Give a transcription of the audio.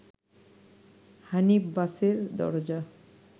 হানিফ বাসের দরজা